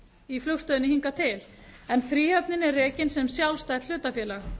í flugstöðinni hingað til en fríhöfnin er rekin sem sjálfstætt hlutafélag